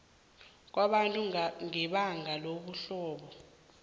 kwabantu ngebanga lobuhlobo